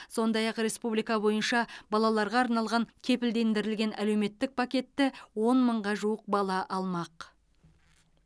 сондай ақ республика бойынша балаларға арналған кепілдендірілген әлеуметтік пакетті он мыңға жуық бала алмақ